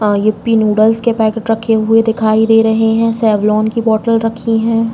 आ Yippee noodles के packet रखे हुए दिखाई दे रहे हैं। सेवलोन की बॉटल रखी हैं।